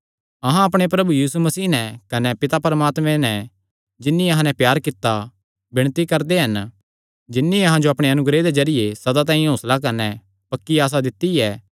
अहां अपणे प्रभु यीशु मसीह नैं कने पिता परमात्मे नैं जिन्नी अहां नैं प्यार कित्ता विणती करदे हन जिन्नी अहां जो अपणे अनुग्रह दे जरिये सदा तांई हौंसला कने पक्की आसा दित्ती ऐ